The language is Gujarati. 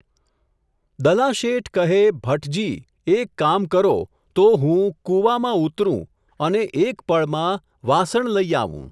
દલાશેઠ કહે, ભટજી ! એક કામ કરો, તો હું, કુવામાં ઊતરું, અને એક પળમાં, વાસણ લઈ આવું.